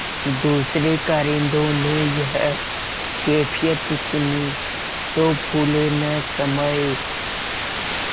दूसरें कारिंदों ने यह कैफियत सुनी तो फूले न समाये